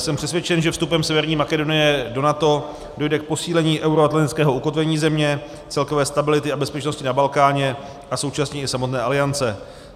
Jsem přesvědčen, že vstupem Severní Makedonie do NATO dojde k posílení euroatlantického ukotvení země, celkové stability a bezpečnosti na Balkáně a současně i samotné Aliance.